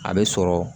A bɛ sɔrɔ